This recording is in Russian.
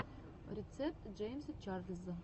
рецепт джеймса чарльза